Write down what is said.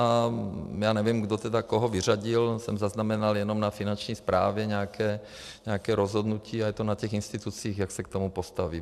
A já nevím, kdo tedy koho vyřadil, jsem zaznamenal jenom na Finanční správě nějaké rozhodnutí a je to na těch institucích, jak se k tomu postaví.